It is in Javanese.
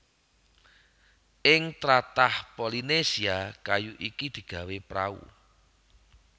Ing tlatah Polynesia kayu iki digawé prau